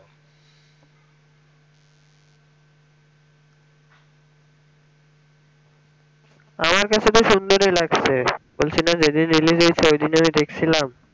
আমার কাছে তো সুন্দর ই লাগছে বলছিনা যেইদিন release হয়েছে ওইদিন ই আমি দেখছিলাম